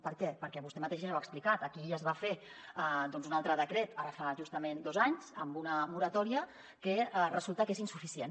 per què perquè vostè mateixa ja ho ha explicat aquí ja es va fer un altre decret ara fa justament dos anys amb una moratòria que resulta que és insuficient